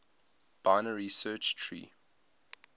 binary search tree